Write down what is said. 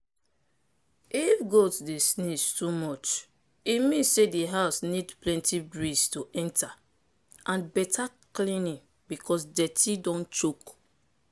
if goat dey sneeze too much e mean say di house need plenty breeze to enter and better cleaning because dirty don choke.